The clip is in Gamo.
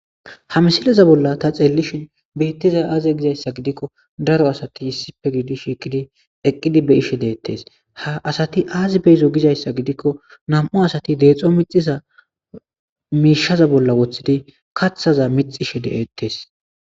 ha misileza bolla ta xeellishin beittizay aaze gizayssa gidikko daro asati yissippe giidi shiikidi eqqidi be ishe deettes ha asati aazi beyizo gizayssa gidikko nam7u asat deexxo mixiza miishaza bolla woththidi kathaza mixishe deettees